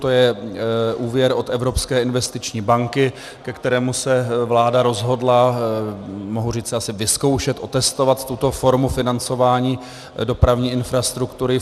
To je úvěr od Evropské investiční banky, ke kterému se vláda rozhodla, mohu říct asi vyzkoušet, otestovat tuto formu financování dopravní infrastruktury.